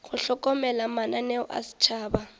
go hlokomela mananeo a setšhaba